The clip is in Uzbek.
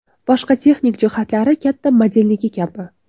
Boshqa texnik jihatlari katta modelniki kabi.